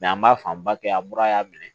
an b'a fanba kɛ an mura y'a minɛ